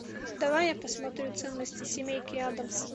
давай я посмотрю ценности семейки аддамс